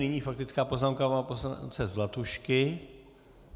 Nyní faktická poznámka pana poslance Zlatušky.